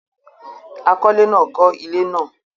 àkọlé náà kọ́ ilé náà